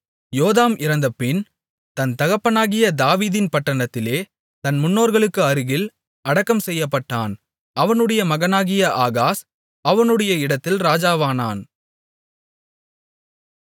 யோதாம் இறந்தபின் தன் தகப்பனாகிய தாவீதின் பட்டணத்திலே தன் முன்னோர்களுக்கு அருகில் அடக்கம் செய்யப்பட்டான் அவனுடைய மகனாகிய ஆகாஸ் அவனுடைய இடத்தில் ராஜாவானான்